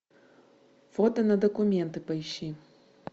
фото на документы поищи